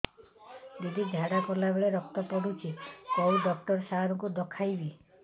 ଦିଦି ଝାଡ଼ା କଲା ବେଳେ ରକ୍ତ ପଡୁଛି କଉଁ ଡକ୍ଟର ସାର କୁ ଦଖାଇବି